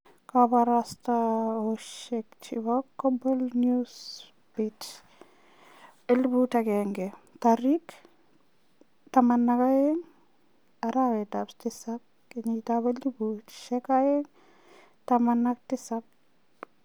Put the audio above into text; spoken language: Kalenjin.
Kabarastaosyek chebo Global Newsbeat 1000 12/07/2017